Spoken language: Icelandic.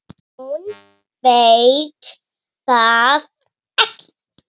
Hún veit það ekki.